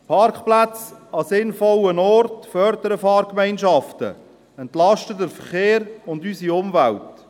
Parkplätze an sinnvollen Orten fördern Fahrgemeinschaften, entlasten den Verkehr und unsere Umwelt.